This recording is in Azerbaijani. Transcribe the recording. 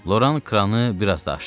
Loran kranı biraz da açdı.